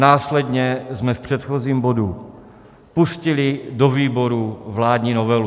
Následně jsme v předchozím bodu pustili do výborů vládní novelu.